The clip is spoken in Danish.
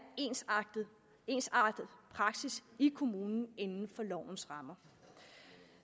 ensartet ensartet praksis i kommunen inden for lovens rammer